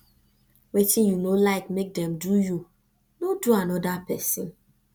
wetin yu no lyk mek dem do yu no do anoda pesin